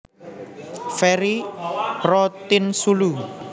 Ferry Rotinsulu